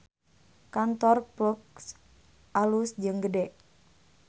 Kantor Potluck alus jeung gede